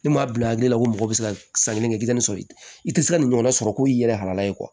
Ne m'a bila hakili la ko mɔgɔ bɛ se ka san kelen kɛ i tɛ nin sɔrɔ ye i tɛ se ka nin ɲɔgɔn na sɔrɔ ko i yɛrɛ halala ye